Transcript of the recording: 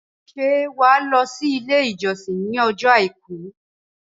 Ṣé wàá lọ sí ilé ìjọsìn ní ọjọ́ àìkú